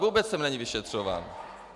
Vůbec jsem není vyšetřován.